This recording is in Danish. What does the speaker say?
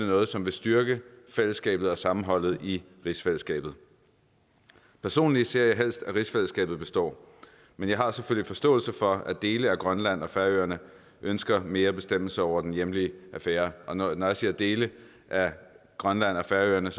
noget som vil styrke fællesskabet og sammenholdet i rigsfællesskabet personligt ser jeg helst at rigsfællesskabet består men jeg har selvfølgelig forståelse for at dele af grønland og færøerne ønsker mere bestemmelse over den hjemlige affære når når jeg siger dele af grønland og færøerne